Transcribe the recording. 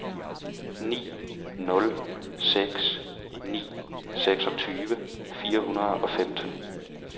ni nul seks ni seksogtyve fire hundrede og femten